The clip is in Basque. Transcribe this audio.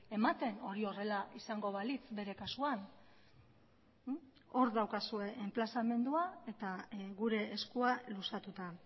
ematen hori horrela izango balitz bere kasuan hor daukazue enplazamendua eta gure eskua luzatuta